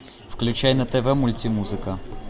включай на тв мультимузыка